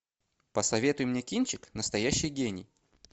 посоветуй мне кинчик настоящий гений